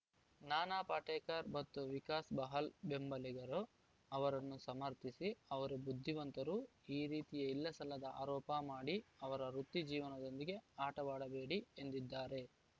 ನಾನಾ ಪಾಟೇಕರ್‌ ಮತ್ತು ವಿಕಾಸ್‌ ಬಹಲ್‌ ಬೆಂಬಲಿಗರು ಅವರನ್ನು ಸಮರ್ಥಿಸಿ ಅವರು ಬುದ್ಧಿವಂತರು ಈ ರೀತಿಯ ಇಲ್ಲಸಲ್ಲದ ಆರೋಪ ಮಾಡಿ ಅವರ ವೃತ್ತಿ ಜೀವನದೊಂದಿಗೆ ಆಟವಾಡಬೇಡಿ ಎಂದಿದ್ದಾರೆ